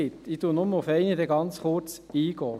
Ich gehe einzig auf eine ganz kurz ein.